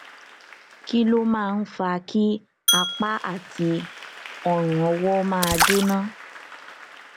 kí ló máa ń fa kí apá àti ọrùnọwọ máa jóná